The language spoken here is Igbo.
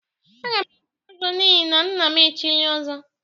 Agam echi ọzọ n'ihi na nnam chili ọzọ.